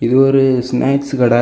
இது ஒரு ஸ்னாக்ஸ் கடெ.